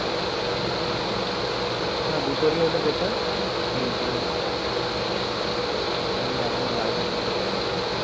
না দুটোরই হলে better কিন্তু একটুখানি দেখনা ভাই যদি কিছু ব্যবস্থা করা যায়